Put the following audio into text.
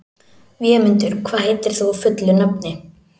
Vémundur, hvað heitir þú fullu nafni?